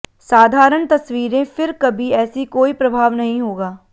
साधारण तस्वीरें फिर कभी ऐसी कोई प्रभाव नहीं होगा